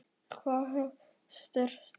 Hvað ef ég stæðist ekki námskröfurnar?